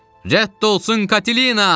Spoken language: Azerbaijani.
Rədd olsun Katina!